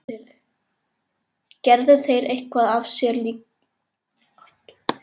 Gerðu þeir eitthvað af sér hjá ykkur líka?